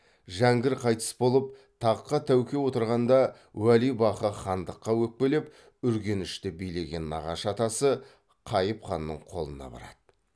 жәңгір қайтыс болып таққа тәуке отырғанда уәлибақы хандыққа өкпелеп үргенішті билеген нағашы атасы қайып ханның қолына барады